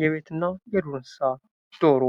የቤት እና የዱር እንስሳ ዶሮ